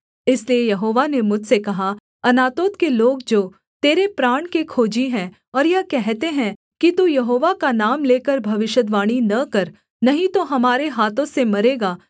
इसलिए यहोवा ने मुझसे कहा अनातोत के लोग जो तेरे प्राण के खोजी हैं और यह कहते हैं कि तू यहोवा का नाम लेकर भविष्यद्वाणी न कर नहीं तो हमारे हाथों से मरेगा